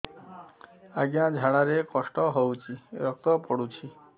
ଅଜ୍ଞା ଝାଡା ରେ କଷ୍ଟ ହଉଚି ରକ୍ତ ପଡୁଛି